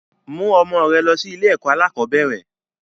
Mú ọmọ rẹ lọ sí ilé ẹ̀kọ́ alakọ̀bẹ́ẹ́rẹ̀!